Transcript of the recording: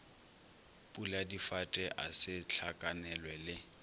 puladifate a se hlakanelwe le